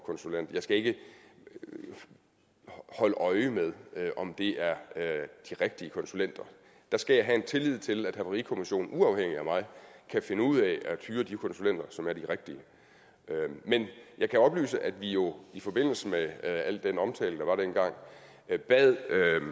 konsulent jeg skal ikke holde øje med om det er de rigtige konsulenter der skal jeg have en tillid til at havarikommissionen uafhængigt af mig kan finde ud af at hyre de konsulenter som er de rigtige men jeg kan oplyse at vi jo i forbindelse med al den omtale der var dengang bad